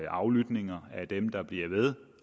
aflytning af dem der bliver ved